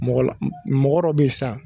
Mɔgɔla mɔgɔ dɔ be yen sisan